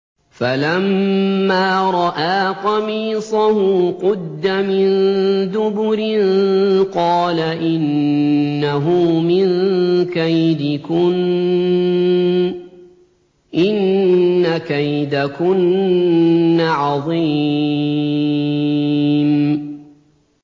فَلَمَّا رَأَىٰ قَمِيصَهُ قُدَّ مِن دُبُرٍ قَالَ إِنَّهُ مِن كَيْدِكُنَّ ۖ إِنَّ كَيْدَكُنَّ عَظِيمٌ